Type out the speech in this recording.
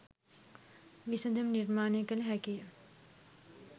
විසඳුම් නිර්මාණය කල හැකිය.